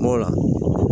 N b'o la